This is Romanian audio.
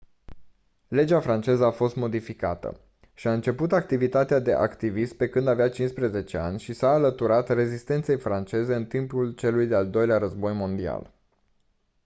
legea franceză a fost modificată și-a început activitatea de activist pe când avea 15 ani și s-a alăturat rezistenței franceze în timpul celui de-al doilea război mondial